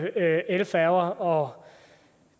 elfærger og